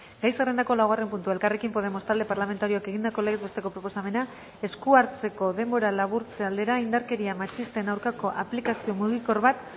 gai zerrendako laugarren puntua elkarrekin podemos talde parlamentarioak egindako legez besteko proposamena esku hartzeko denbora laburtze aldera indarkeria matxisten aurkako aplikazio mugikor bat